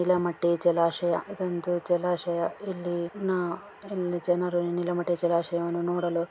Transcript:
ನೀಲಮಟ್ಟಿ ಜಲಾಶಯ ಇದೊಂದು ಜಲಾಶಯ ಇಲ್ಲಿ ನಾ ಇಲ್ಲಿ ಜನರು ನೀಲಮಟ್ಟಿ ಜಲಾಶಯವನ್ನು ನೋಡಲು.